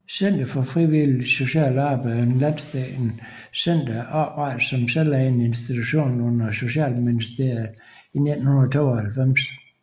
Center for Frivilligt Socialt Arbejde er et landsdækkende center oprettet som en selvejende institution under Socialministeriet i 1992